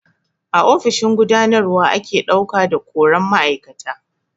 A ofishin gudanarwa ake ɗauka da koran ma'aikata.